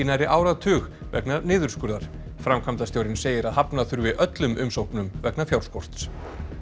nærri áratug vegna niðurskurðar framkvæmdastjórinn segir að hafna þurfi öllum umsóknum vegna fjárskorts